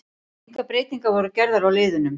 Engar breytingar voru gerðar á liðunum.